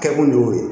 Kɛkun de y'o ye